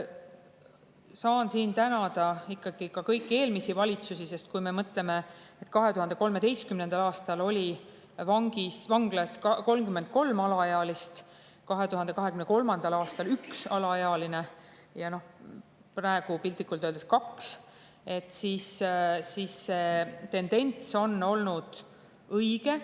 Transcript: Saan siin tänada ka kõiki eelmisi valitsusi, sest kui me mõtleme, et 2013. aastal oli vanglas 33 alaealist, 2023. aastal üks alaealine ja praegu on piltlikult öeldes kaks, siis see tendents on olnud õige.